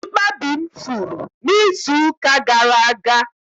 Mkpabi m furu n'izuụka gara aga